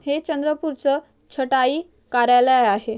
हे चंद्रपुरच छटाई कार्यालय आहे.